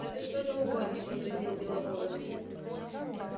да ты что за угодник возразил белобородов